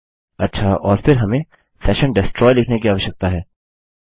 अच्छा और फिर हमें सेशन डेस्ट्रॉय लिखने की आवश्यकता है